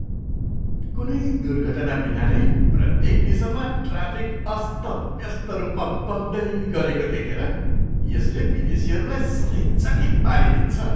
कुनै दुर्घटनाबिना नै प्रत्येक दिशामा ट्राफिक अस्तव्यस्त रूपमा बग्दै गरेको देखेर यसले विदेशीहरूलाई सधैँ चकित पारिदिन्छ।